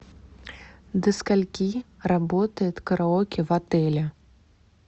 до скольки работает караоке в отеле